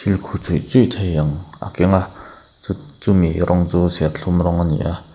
khu chuih chuih thei ang a keng a chu chumi rawng chu serthlum rawng a ni a.